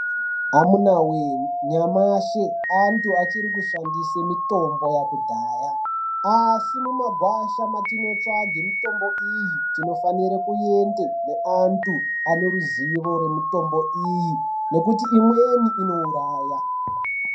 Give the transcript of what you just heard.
Amunawe nyamashi antu achiri kushandise mutombo yekudhaya asi mumagwasha mwatinotsvake mutombo iyi tinofanire kuende neantu aneruzivo nemutombo iyi nekuti imweni inouraya.